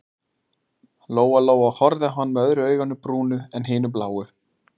Lóa-Lóa horfði á hann með öðru auganu brúnu en hinu bláu.